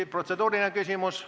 Kas protseduuriline küsimus?